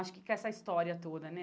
Acho que com essa história toda, né?